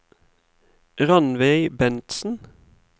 Ranveig Bentsen